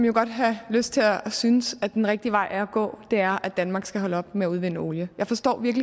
jo godt have lyst til at synes at den rigtige vej at gå er at danmark skal holde op med at udvinde olie jeg forstår